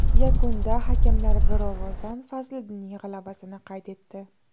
Yakunda hakamlar bir ovozdan Fazliddinning g‘alabasini qayd etdi.